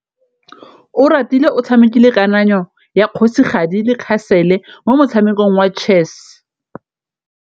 Oratile o tshamekile kananyô ya kgosigadi le khasêlê mo motshamekong wa chess.